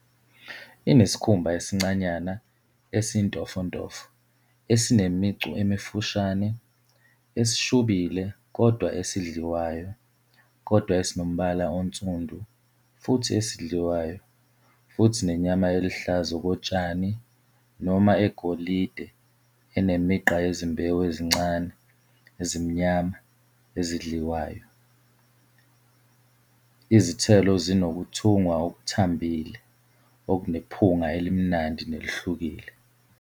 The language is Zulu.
Inesikhumba esincanyana, esintofontofo, esinemicu emifushane, esishubile kodwa esidliwayo kodwa esinombala onsundu futhi esidliwayo futhi nenyama eluhlaza okotshani noma egolide enemigqa yezimbewu ezincane, ezimnyama, ezidliwayo. Izithelo zinokuthungwa okuthambile okunephunga elimnandi nelihlukile.